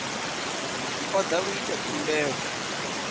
o da u ita khumbelo